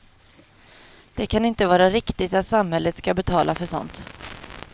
Det kan inte vara riktigt att samhället ska betala för sådant.